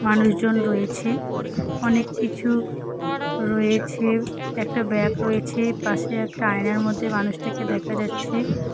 মানুষজন রয়েছে অনেক কিছু রয়েছে একটা ব্যাগ রয়েছে পাশে একটা আয়নার মধ্যে মানুষটাকে দেখা যাচ্ছে।